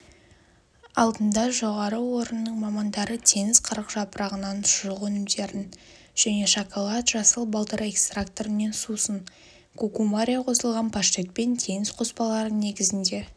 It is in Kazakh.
алдында жоғары орнының мамандары теңіз қырықжапырағынан шұжық өнімдерін және шоколад жасыл балдыр экстрактінен сусын кукумария қосылған паштет пен теңіз қоспалары негізінде